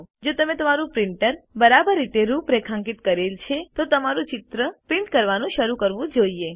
જો તમે તમારું પ્રિન્ટર બરાબર રીતે રૂપરેખાંકિત કરેલ છે તો તમારું ચિત્ર પ્રિન્ટ કરવાનું શરૂ કરવું જોઈએ